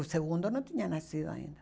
O segundo não tinha nascido ainda.